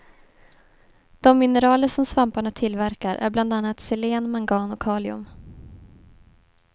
De mineraler som svamparna tillverkar är bland annat selen, mangan och kalium.